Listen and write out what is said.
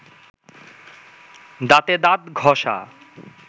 দাঁতে দাঁত ঘষা